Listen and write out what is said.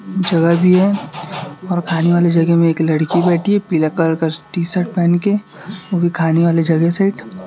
जगह भी है और खाने वाली जगह में एक लड़की बैठी है पीला कलर का टी शर्ट पहन के वो भी खाने वाली जगह से --